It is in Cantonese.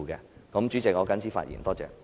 代理主席，我謹此陳辭，謝謝。